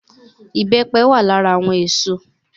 Ìbẹ́pẹ wà lára àwọn èso